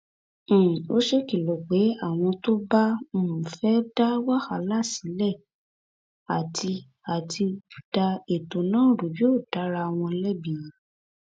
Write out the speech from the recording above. um ó ṣèkìlọ pé àwọn tó bá um fẹẹ da wàhálà sílẹ àti àti da ètò náà rú yóò da ara wọn lẹbi